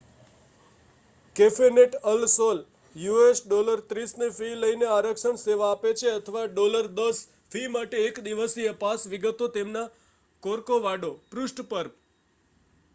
કેફેનેટ Al Sol us$30 ની fee લઈને આરક્ષણ સેવા આપે છે અથવા $10 ફી માટે એક દિવસીય પાસ; વિગતો તેમના કોર્કોવાડો પૃષ્ઠ પર